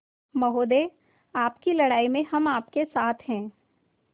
महोदय आपकी लड़ाई में हम आपके साथ हैं